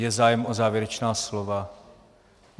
Je zájem o závěrečná slova?